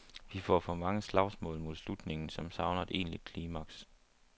Vi får for mange slagsmål mod slutningen, som savner et egentlig klimaks.